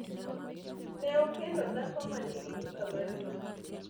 ne okendo dhako manigi duka maduong'